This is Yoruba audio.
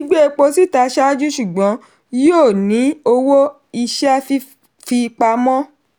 gbígbé epo síta ṣáájú ṣùgbọ́n yíó ní owó iṣẹ́ fifipamọ.